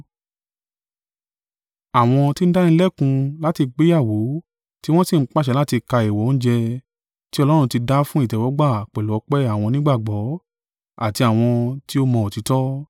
Àwọn tí ń dánilẹ́kun láti gbéyàwó tiwọn si ń pàṣẹ láti ka èèwọ̀ oúnjẹ ti Ọlọ́run ti dá fún ìtẹ́wọ́gbà pẹ̀lú ọpẹ́ àwọn onígbàgbọ́ àti àwọn ti ó mọ òtítọ́.